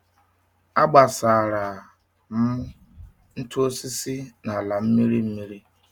Agbasara m ntụ osisi n’ala mmiri mmiri.